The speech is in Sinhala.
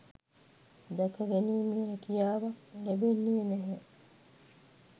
දැකගැනීමේ හැකියාවක් ලැබෙන්නේ නැහැ.